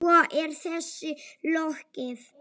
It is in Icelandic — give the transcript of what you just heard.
Svo er þessu lokið?